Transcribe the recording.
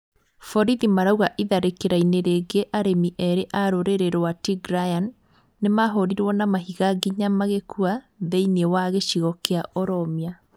Borithi marauga itharĩkira-inĩ rĩngĩ arĩmi erĩ a rũrĩrĩ rwa Tigrayan nĩmahũrirwo na mahiga nginya magĩkua thĩiniĩ wa gĩcigo kĩa Oromia